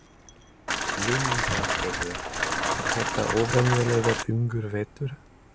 Lillý Valgerður: Er þetta óvenjulega þungur vetur?